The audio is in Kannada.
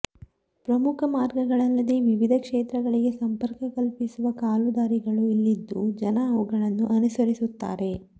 ಪ್ರಮುಖ ಮಾರ್ಗಗಳಲ್ಲದೇ ವಿವಿಧ ಕ್ಷೇತ್ರಗಳಿಗೆ ಸಂಪರ್ಕ ಕಲ್ಪಿಸುವ ಕಾಲುದಾರಿಗಳೂ ಇಲ್ಲಿದ್ದು ಜನ ಅವುಗಳನ್ನೂ ಅನುಸರಿಸುತ್ತಾರೆ